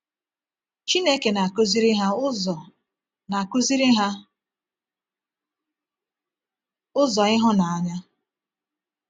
Chineke na-akụziri ha ụzọ na-akụziri ha ụzọ ịhụnanya.